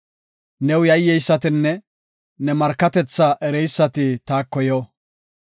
New yayyeysatinne ne markatethaa ereysati taako yo.